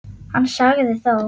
Hann sagði þó